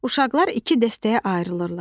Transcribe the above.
Uşaqlar iki dəstəyə ayrılırlar.